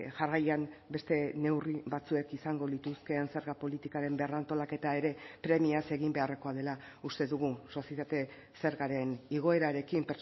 jarraian beste neurri batzuek izango lituzkeen zerga politikaren berrantolaketa ere premiaz egin beharrekoa dela uste dugu sozietate zergaren igoerarekin